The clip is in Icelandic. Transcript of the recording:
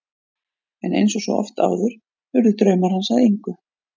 En eins og svo oft áður urðu draumar hans að engu.